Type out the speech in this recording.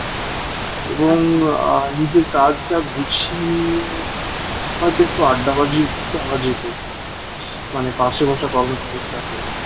এবং আ নিজের কাজটা গুছিয়ে নিয়ে হয়তো একটু আড্ডাবাজিও দেওয়া যেত মানে পাশে বসা কর্মচারীর সাথে